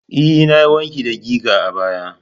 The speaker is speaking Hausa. E, na yi wanki da giga a baya.